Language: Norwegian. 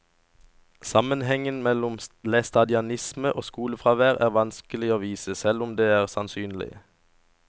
Sammenhengen mellom læstadianisme og skolefravær er vanskelig å vise, selv om den er sannsynlig.